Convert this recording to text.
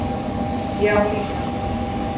Já, líka.